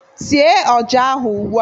Tiee ọja ahu ụgbụa!